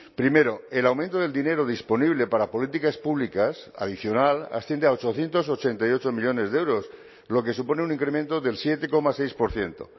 primero el aumento del dinero disponible para políticas públicas adicional asciende a ochocientos ochenta y ocho millónes de euros lo que supone un incremento del siete coma seis por ciento